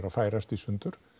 að færast í sundur